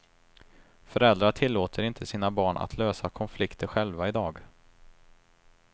Föräldrar tillåter inte sina barn att lösa konflikter själva i dag.